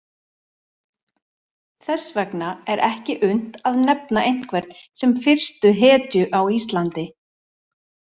Þess vegna er ekki unnt að nefna einhvern sem fyrstu hetju á Íslandi.